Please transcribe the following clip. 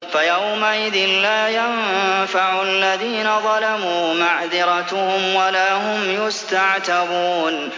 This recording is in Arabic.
فَيَوْمَئِذٍ لَّا يَنفَعُ الَّذِينَ ظَلَمُوا مَعْذِرَتُهُمْ وَلَا هُمْ يُسْتَعْتَبُونَ